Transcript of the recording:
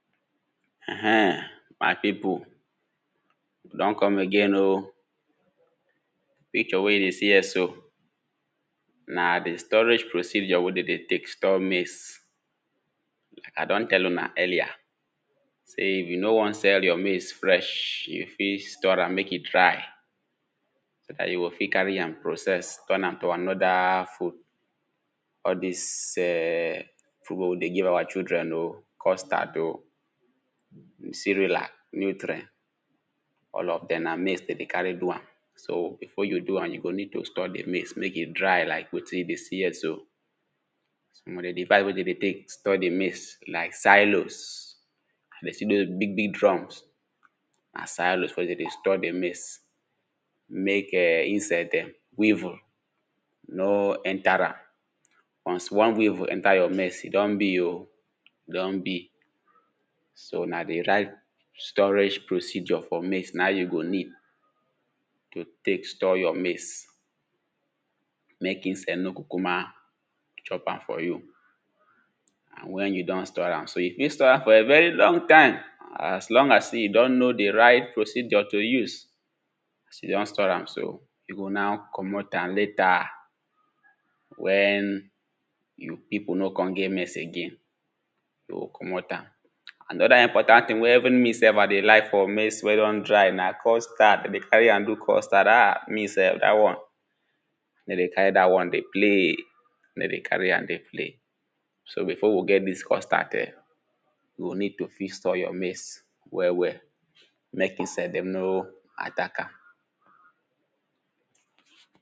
Ehen my people we don come again oh, picture wey you dey see here so na di storage procedure wey dem dey use store maize. I don tell una earlier, sey if you know wan sell your maize fresh, you fit store am make e dry. So dat you go fit carry am process, turn am to another food. All dis [urn] food wen we dey give our children oh, custard oh, with ceralac [2] all of dem na maize dem dey carry do am. So before you go do am, you go need store di maize make e dry like wetin you dey see here so. Some of di [2] wey dem dey use store di maize like sailos, you go see all doz big big drum, na sailos wen dem dey store di maize, make [urn] insect dem, weevil no enter am. once one weevil enter your maize, e don be oh, e don be. So na di right storage procedure for maize, na im you go need to take store your maize, make insect no kukuma chop am for you and wen you don store am so, you fit store am for a very long time. As long as sey you don know di right procedure to use, as you don store am so, you go now komot am later wen you people no come get maize again, you go komot am. Another important thing wen even me sef I dey like for maize wen don dry na custard, dem dey carry am, do custard ah, me sef dat one I nor dey carry dat one dey play, I no dey carry am dey play. So before we get dis custard ehn, you go need to fit store your maize well well, make insect dem no attack am.